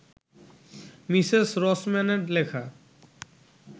Mrs রসম্যানের লেখা